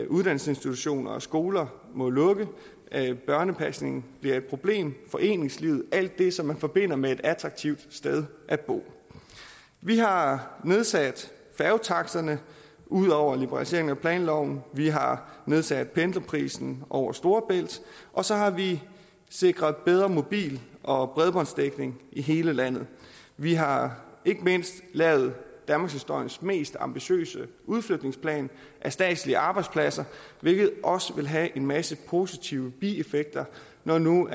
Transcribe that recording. uddannelsesinstitutioner og skoler må lukke børnepasningen bliver et problem foreningslivet alt det som man forbinder med et attraktivt sted at bo vi har nedsat færgetaksterne ud over liberalisering af planloven vi har nedsat pendlerprisen over storebælt og så har vi sikret bedre mobil og bredbåndsdækning i hele landet vi har ikke mindst lavet danmarkshistoriens mest ambitiøse udflytningsplan af statslige arbejdspladser hvilket også vil have en masse positive bieffekter når nu